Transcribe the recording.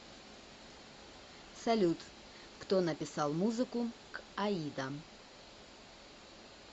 салют кто написал музыку к аида